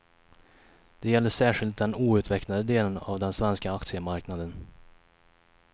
Det gäller särskilt den outvecklade delen av den svenska aktiemarknaden.